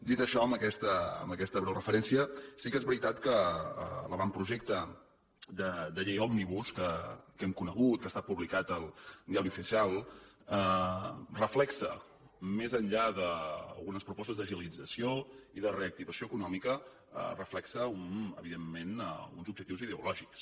dit això amb aquesta breu referència sí que és veritat que l’avantprojecte de llei òmnibus que hem conegut que ha estat publicat en el diari oficial reflecteix més enllà d’algunes propostes d’agilització i de reactivació econòmica els reflecteix evidentment uns objectius ideològics